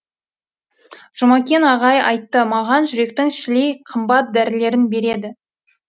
жұмекен аға айтты маған жүректің шілей қымбат дәрілерін береді